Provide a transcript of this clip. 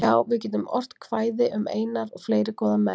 Já, við getum ort kvæði um Einar og fleiri góða menn, sagði